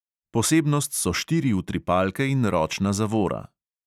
Posebnost so štiri utripalke in ročna zavora.